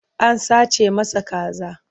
An sace masa kaza.